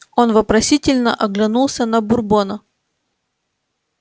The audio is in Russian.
он вопросительно оглянулся на бурбона